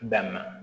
Damina